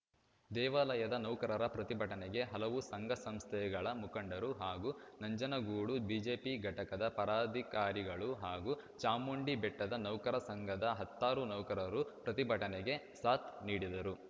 ದೇವಾಲಯದ ನೌಕರರ ಪ್ರತಿಭಟನೆ ಹಲವು ಸಂಘ ಸಂಸ್ಥೆಗಳ ಮುಖಂಡರು ಹಾಗೂ ನಂಜನಗೂಡು ಬಿಜೆಪಿ ಘಟಕದ ಪರದಾಧಿಕಾರಿಗಳು ಹಾಗೂ ಚಾಮುಂಡಿಬೆಟ್ಟದ ನೌಕರ ಸಂಘದ ಹತ್ತಾರು ನೌಕರರು ಪ್ರತಿಭಟನೆಗೆ ಸಾಥ್‌ ನೀಡಿದರು